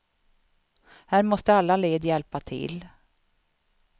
Här måste alla led hjälpa till.